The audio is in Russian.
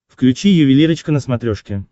включи ювелирочка на смотрешке